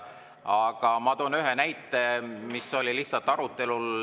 Aga ma toon ühe näite, mis oli lihtsalt arutelul.